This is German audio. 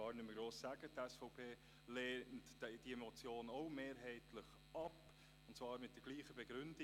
Die SVP lehnt die Motion auch mehrheitlich ab, und zwar mit derselben Begründung.